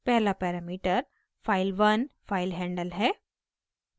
पहला parameter file1 filehandle है